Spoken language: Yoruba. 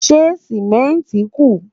ṣé simẹnti ku?